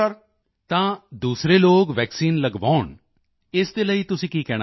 ਤਾਂ ਦੂਸਰੇ ਲੋਕਾਂ ਨੂੰ ਵੈਕਸੀਨ ਲਗਵਾਓ ਇਸ ਦੇ ਲਈ ਤੁਸੀਂ ਕੀ ਕਹਿਣਾ ਚਾਹੁੰਦੇ ਹੋ